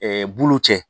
bulu cɛ